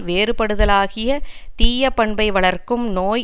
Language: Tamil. வேறுபடுதலாகிய தீயப் பண்பை வளர்க்கும் நோய்